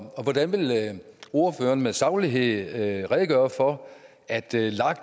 hvordan vil ordføreren med saglighed redegøre for at lag